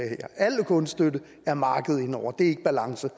al kunststøtte er markedet inde over det er ikke balance